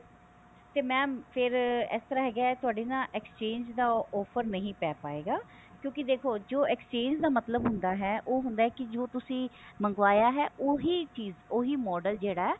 ਤੇ mam ਫ਼ੇਰ ਇਸ ਤਰਾਂ ਹੈਗਾ ਤੁਹਾਡੇ ਨਾ exchange ਦਾ offer ਨਹੀ ਪੈ ਪਾਇਗਾ ਕਿਉਂਕਿ ਦੇਖੋ ਜੋ exchange ਦਾ ਮਤਲਬ ਹੁੰਦਾ ਹੈ ਉਹ ਹੁੰਦਾ ਹੈ ਉਹ ਹੁੰਦਾ ਹੈ ਕੇ ਜੋ ਤੁਸੀਂ ਮੰਗਵਾਇਆ ਹੈ ਓਹੀ ਚੀਜ਼ ਓਹੀ model ਜਿਹੜਾ ਹੈ